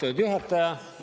Austatud juhataja!